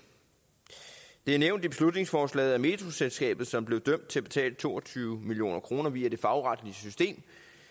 det er nævnt i beslutningsforslaget at metroselskabet som blev dømt til at betale to og tyve million kroner via det fagretlige system